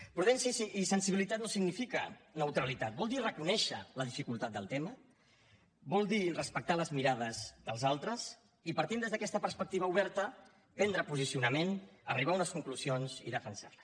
prudència i sensibilitat no signifiquen neutralitat vol dir reconèixer la dificultat del tema vol dir respectar les mirades dels altres i partint des d’aquesta perspectiva oberta prendre posicionament arribar a unes conclusions i defensar les